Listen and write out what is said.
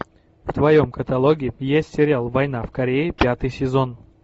в твоем каталоге есть сериал война в корее пятый сезон